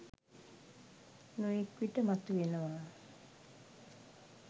නොයෙක් විට මතුවෙනවා